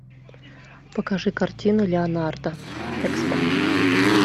покажи картину леонардо экспо